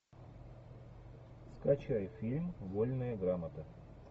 скачай фильм вольная грамота